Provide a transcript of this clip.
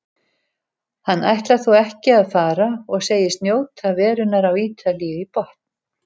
Hann ætlar þó ekki að fara og segist njóta verunnar á Ítalíu í botn.